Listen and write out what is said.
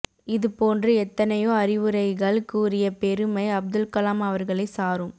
இது போன்று எத்தனையோ அறிவுரைகள் கூறிய பெறுமை அப்துல்கலாம் அவர்களை சாரும்